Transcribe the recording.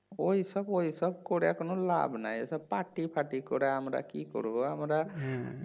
ওইসব ওইসব করে এখন লাভ নাই ওইসব পার্টি ফার্টি করে আমরা কি করবো আমরা